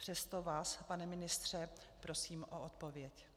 Přesto vás, pane ministře, prosím o odpověď.